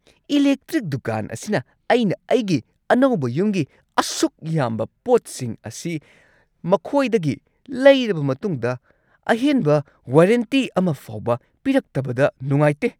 Electric ꯗꯨꯀꯥꯟ ꯑꯁꯤꯅ ꯑꯩꯅ ꯑꯩꯒꯤ ꯑꯅꯧꯕ ꯌꯨꯝꯒꯤ ꯑꯁꯨꯛ ꯌꯥꯝꯕ ꯄꯣꯠꯁꯤꯡ ꯑꯁꯤ ꯃꯈꯣꯢꯗꯒꯤ ꯂꯩꯔꯕ ꯃꯇꯨꯡꯗ ꯑꯍꯦꯟꯕ ꯋꯥꯔꯦꯟꯇꯤ ꯑꯃ ꯐꯥꯎꯕ ꯄꯤꯔꯛꯇꯕꯗ ꯅꯨꯉꯥꯢꯇꯦ꯫